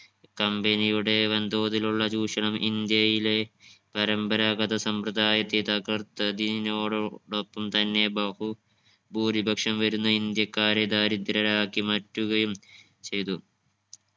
company യുടെ വൻതോതിലുള്ള ചൂഷണം ഇന്ത്യയിലെ പരമ്പരാഗത സമ്പ്രദായത്തെ തകർത്തതിനോടൊ ടൊപ്പം തന്നെ ബഹുഭൂരിപക്ഷം വരുന്ന ഇന്ത്യക്കാരെ ദരിദ്രരാക്കി മാറ്റുകയും ചെയ്തു